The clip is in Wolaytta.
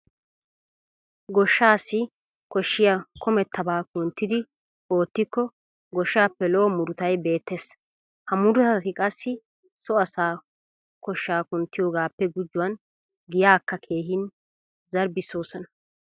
Goshshaassi koshshiya kumettabaa kunttidi oottikko goshshaappe lo"o murutay beettees. Ha murutati qassi so asaa koshshaa kunttiyogaappe gujuwan giyaakka keehin zarbbissoosona.